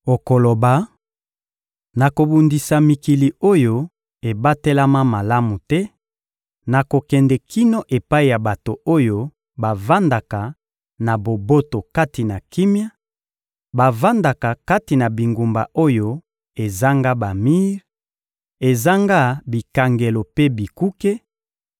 Okoloba: ‘Nakobundisa mikili oyo ebatelama malamu te, nakokende kino epai ya bato oyo bavandaka na boboto kati na kimia, bavandaka kati na bingumba oyo ezanga bamir, ezanga bikangelo mpe bikuke;